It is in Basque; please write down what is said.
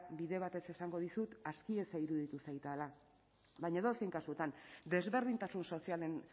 bide batez esango dizut asti eza iruditu zaidala baina edozein kasutan desberdintasun sozialen